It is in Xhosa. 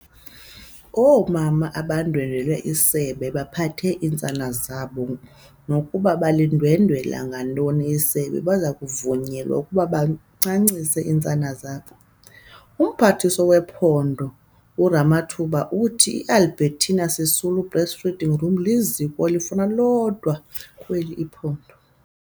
Oomama abandwendwele isebe bephethe iintsana zabo, nokuba balindwendwela ngantoni isebe, baza kuvunyelwa ukuba bancancise iintsana zabo. UMphathiswa wePhondo uRamathuba uthi i-Albertina Sisulu Breastfeeding Room iliziko elifana lodwa kweli phondo.